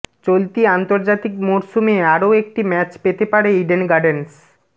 চলতি আন্তর্জাতিক মরশুমে আরও একটি ম্যাচ পেতে পারে ইডেন গার্ডেনস